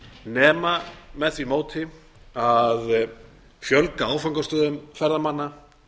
nema með því móti að fjölga áfangastöðum ferðamanna